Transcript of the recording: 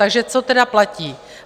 Takže co tedy platí?